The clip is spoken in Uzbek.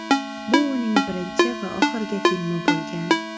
Bu uning birinchi va oxirgi filmi bo‘lgan.